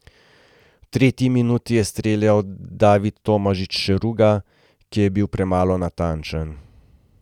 V tretji minuti je streljal David Tomažič Šeruga, ki je bil premalo natančen.